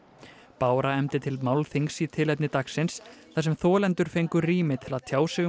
bára efndi til málþings í tilefni dagsins þar sem þolendur fengu rými til að tjá sig um